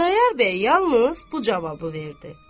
Xudayar bəy yalnız bu cavabı verdi: